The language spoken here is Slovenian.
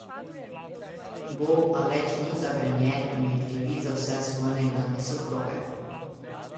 Bo, a le, če ni zagrenjen in ne krivi za vse svoje nekdanje soproge.